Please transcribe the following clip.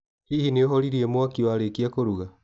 Hihi nĩ ũhoririe mwaki warĩkia kũruga?